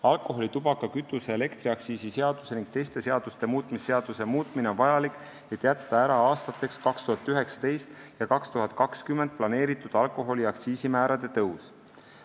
Alkoholi-, tubaka-, kütuse- ja elektriaktsiisi seaduse ning teiste seaduste muutmise seaduse muutmine on vajalik, et jätta ära aastateks 2019 ja 2020 planeeritud alkoholi aktsiisimäärade tõus.